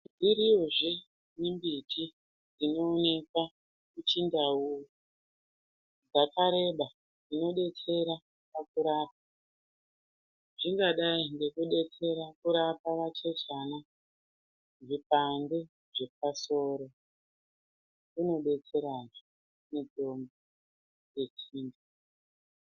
Iriyozve mimbiti inoonekwa kuchindau dzakareba dzinodetsera pakurapa zvingadai ngekudetsera kurapa vachechana zvipande zvepasoro inodetserazve mitombo yechiyungu.